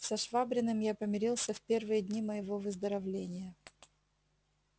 со швабриным я помирился в первые дни моего выздоровления